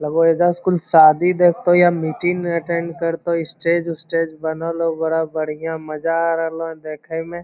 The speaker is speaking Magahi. लगो एइजा कुल शादी देखतो या मीटिंग अटैंड करतो स्टेज उस्टेज बनल हो बड़ा बढ़िया मज़ा आ रहलो देखे में।